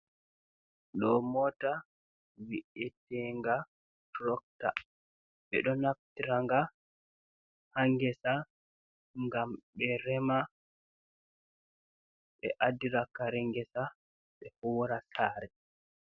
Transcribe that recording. Ɗo mota vi’etenga trokta, ɓe ɗo naftranga ha ngesa gam ɓe rema, ɓe adira kare ngesa ɓe hura sare.